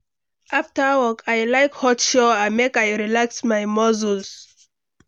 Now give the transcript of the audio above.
After work, I like hot shower make I relax my muscle.